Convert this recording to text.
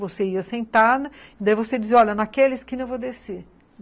Você ia sentada, daí você dizia, olha, naquela esquina eu vou descer.